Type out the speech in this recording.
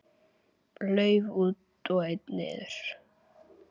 Lauf út og einn niður.